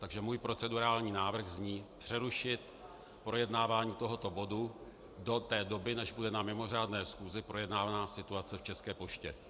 Takže můj procedurální návrh zní: přerušit projednávání tohoto bodu do té doby, než bude na mimořádné schůzi projednána situace v České poště.